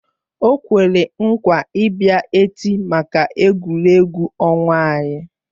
O kwere nkwa ị bịa echi maka egwuregwu ọnwa anyị